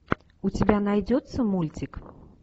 у тебя найдется мультик